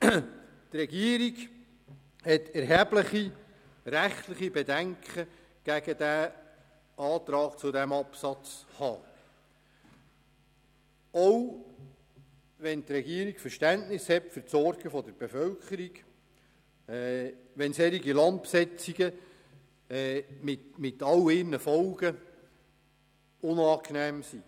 Die Regierung hat erhebliche rechtliche Bedenken gegen den Antrag zu Buchstabe h (neu), auch wenn die Regierung für die Sorgen der Bevölkerung Verständnis hat und auch wenn solche Landbesetzungen mit all ihren Folgen unangenehm sind.